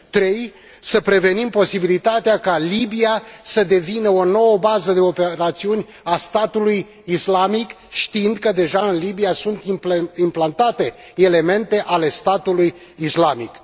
3 să prevenim posibilitatea ca Libia să devină o nouă bază de operațiuni a Statului Islamic știind că deja în Libia sunt implantate elemente ale Statului Islamic.